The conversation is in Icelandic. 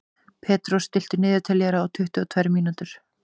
Petrós, stilltu niðurteljara á tuttugu og tvær mínútur.